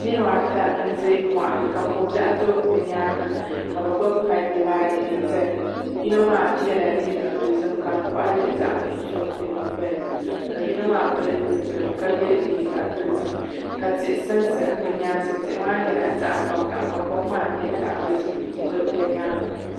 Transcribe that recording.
Niraba ata n ʒɛ moɣani ka ko biɛɣu do bi nyaanga ka bi gbubi pai dibaayi n ʒɛya yino maa yɛla liiga dozim ka di koɣali zaɣ nuɣso di nyingoli ni ka yino maa pili zipiligu ka yɛ liiga dozim ka tihi sansa bi nyaansi tihi maa nyɛla zaɣ vakaɣa ka kom maa nyɛ zaɣ dozim n do bi nyaanga